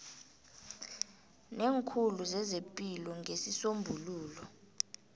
neekhulu zezepilo ngesisombululo